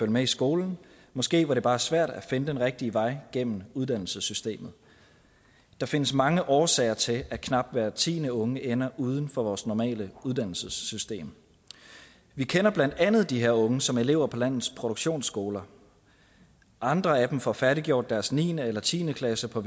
med i skolen måske var det bare svært at finde den rigtige vej igennem uddannelsessystemet der findes mange årsager til at knap hver tiende unge ender uden for vores normale uddannelsessystem vi kender blandt andet de her unge som elever på landets produktionsskoler andre af dem får færdiggjort deres niende eller tiende klasse på